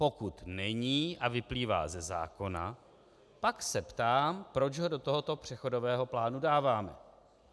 Pokud není a vyplývá ze zákona, pak se ptám, proč ho do tohoto přechodového plánu dáváme.